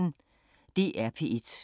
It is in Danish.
DR P1